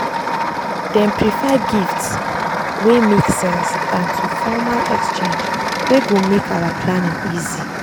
dem prefer gifts wey make sense than to formal exchange wey go make our planning easy.